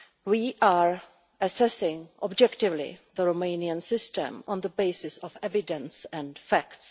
We are assessing objectively the Romanian system on the basis of evidence and facts.